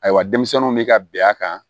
Ayiwa denmisɛnninw bɛ ka bɛn a kan